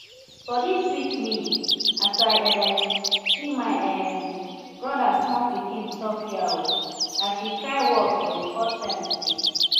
body sweet me as i um see my um brother small pikin sophia um as she try walk for the first time today